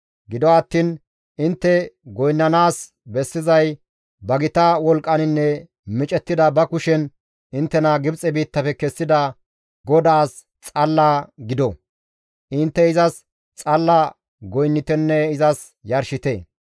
Gido attiin intte goynnanaas bessizay ba gita wolqqaninne micettida ba kushen inttena Gibxe biittafe kessida GODAAS xalla gido. Intte izas xalla goynnitenne izas yarshite.